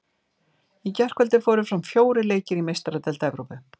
Í gærkvöldi fóru fram fjórir leikir í Meistaradeild Evrópu.